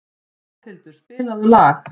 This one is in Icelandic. Ráðhildur, spilaðu lag.